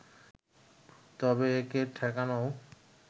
তবে একে ঠেকানোও